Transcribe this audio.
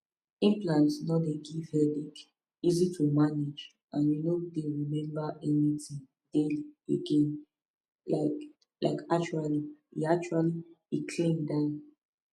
implant no dey give headache easy to manage you no go dey remember anything daily again like like actually e actually e clean die